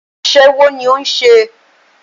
Aṣẹ́wó ní o ń ṣe.